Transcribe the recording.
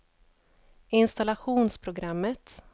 installationsprogrammet